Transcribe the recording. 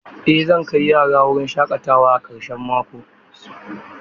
Eh zan kai yara wurin shaƙatawa a karshen mako.